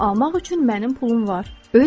Bunu almaq üçün mənim pulum var.